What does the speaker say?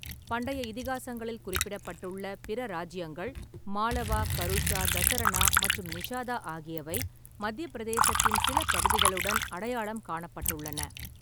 பண்டைய இதிகாசங்களில் குறிப்பிடப்பட்டுள்ள பிற ராஜ்ஜியங்கள் மாளவா, கருஷா, தசரணா மற்றும் நிஷாதா ஆகியவை மத்தியப் பிரதேசத்தின் சில பகுதிகளுடன் அடையாளம் காணப்பட்டுள்ளன.